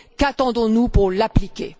Qu'attendons nous pour l'appliquer?